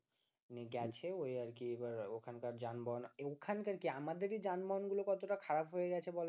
নিয়ে গেছে ওই আর কি এবার ওখানকার যানবাহন, ওখানকার কি আমাদেরই যানবহন গুলোর কতটা খারাপ হয়ে গেছে বলতো